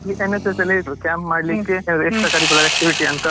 NSS ಇರುದು camp ಮಾಡ್ಲಿಕ್ಕೆ extra curricular activity ಅಂತ ಗೊತ್ತೇ ಆಗ್ಲಿಲ್ಲ.